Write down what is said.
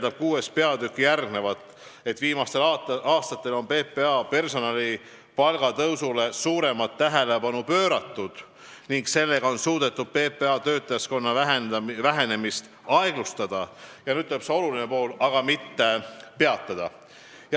Selle VI peatükis on tõesti järgmine järeldus: "Viimastel aastatel on PPA personali palgatõusule suuremat tähelepanu pööratud ning sellega on suudetud PPA töötajaskonna vähenemist aeglustada , aga mitte peatada.